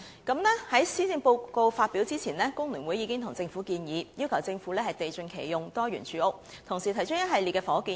在施政報告發表前，工聯會已經向政府提出"地盡其用，多元住屋"的倡議，同時提出一系列房屋建議。